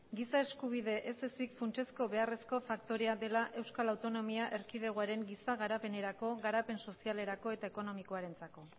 giza eskubide ez ezik funtsezko beharrezko faktorea dela euskal autonomia erkidegoaren giza garapenerako garapen sozialerako eta ekonomikoarentzako